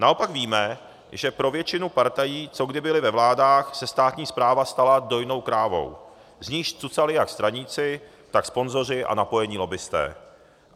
Naopak víme, že pro většinu partají, co kdy byly ve vládách, se státní správa stala dojnou krávou, z níž cucali jak straníci, tak sponzoři a napojení lobbisté.